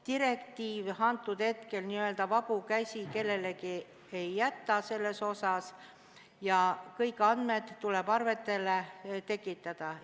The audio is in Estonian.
Direktiiv hetkel n-ö vabu käsi kellelegi selles asjas ei jäta ja kõik andmed tuleb arvetele tekitada.